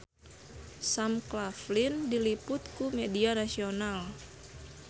Sam Claflin diliput ku media nasional